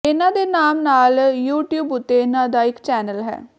ਇਨ੍ਹਾਂ ਦੇ ਨਾਮ ਨਾਲ ਯੂਟਿਊਬ ਉਤੇ ਇਨ੍ਹਾਂ ਦਾ ਇੱਕ ਚੈਨਲ ਹੈ